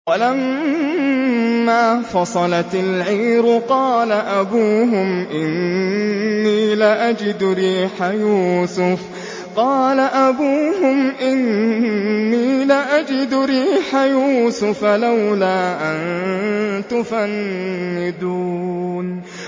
وَلَمَّا فَصَلَتِ الْعِيرُ قَالَ أَبُوهُمْ إِنِّي لَأَجِدُ رِيحَ يُوسُفَ ۖ لَوْلَا أَن تُفَنِّدُونِ